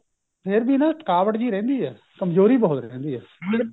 ਫੇਰ ਵੀ ਨਾ ਥਕਾਵਟ ਜਿਹੀ ਰਹਿੰਦੀ ਹੈ ਕਮਜੋਰੀ ਬਹੁਤ ਰਹਿੰਦੀ ਹੈ ਮਤਲਬ